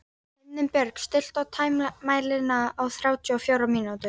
Himinbjörg, stilltu tímamælinn á þrjátíu og fjórar mínútur.